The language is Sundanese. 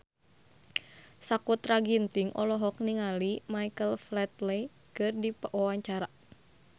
Sakutra Ginting olohok ningali Michael Flatley keur diwawancara